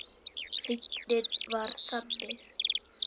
Fíknin var þannig.